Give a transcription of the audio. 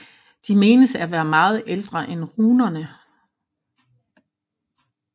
De menes at være meget ældre end runerne